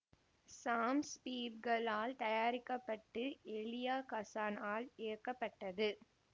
சாம் Spiegel ஆல் தயாரிக்க பட்டு எலியா கசான் ஆல் இயக்கப்பட்டது